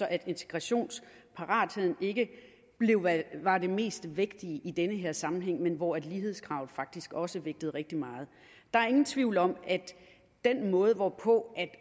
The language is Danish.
at integrationsparatheden ikke var det mest vægtige i den her sammenhæng men hvor lighedskravet faktisk også vægtede rigtig meget der er ingen tvivl om at den måde hvorpå